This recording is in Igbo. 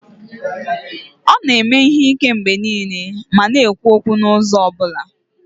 Ọ na-eme ihe ike mgbe niile ma na-ekwu okwu n'ụzọ ọ bụla